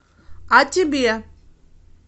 а тебе